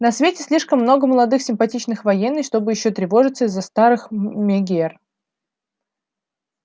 на свете слишком много молодых симпатичных военных чтобы ещё тревожиться из-за старых мегер